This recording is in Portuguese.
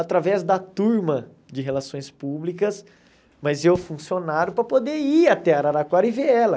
Através da turma de relações públicas, mas eu funcionário para poder ir até Araraquara e ver ela.